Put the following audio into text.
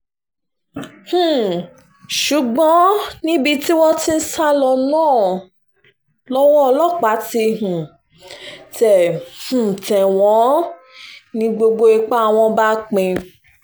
um ṣùgbọ́n níbi tí wọ́n ti ń sá lọ náà lọ́wọ́ ọlọ́pàá ti um tẹ̀ um tẹ̀ wọ́n ni gbogbo ipá wọn bá pín